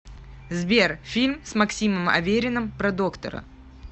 сбер фильм с максимом авериным про доктора